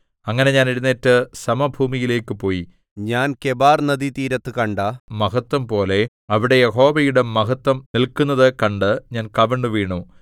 അങ്ങനെ ഞാൻ എഴുന്നേറ്റ് സമഭൂമിയിലേക്കു പോയി ഞാൻ കെബാർനദീതീരത്തു കണ്ട മഹത്വംപോലെ അവിടെ യഹോവയുടെ മഹത്വം നില്ക്കുന്നതു കണ്ട് ഞാൻ കവിണ്ണുവീണു